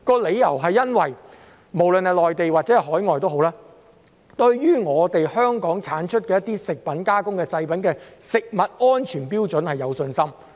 理由在於無論是內地或海外，他們均對香港產出的食品加工製品的食物安全標準有信心。